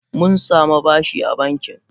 Mun samu bashi a banki.